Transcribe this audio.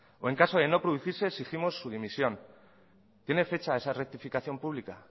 o en caso de no producirse exigimos su dimisión tiene fecha esa rectificación pública